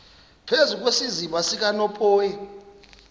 phezu kwesiziba sikanophoyi